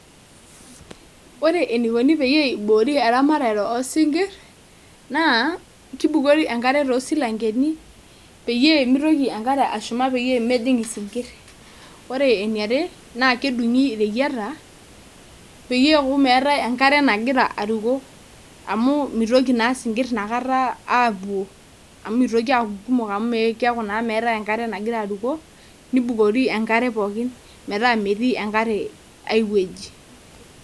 Ore eneikoni pee eiboori eramatare oosinkir naaa keibukori enkare toosilankeni peyie meitoki enkare ashuma peyie mejing isinkir ore eniare naa kedung'i ireyiata peyie eeku meetai enkare nagira aruko amu meitoki naa isinkir inakata aapuo amu mitoki aaku kumok amu mitoki aata enkare nagira aruko nibukori enkare pooki metaa metii enkare aiwueji.